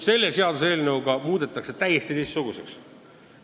Selle seaduseelnõu kohaselt muudetakse olukord täiesti teistsuguseks.